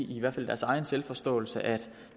i hvert fald i deres egen selvforståelse at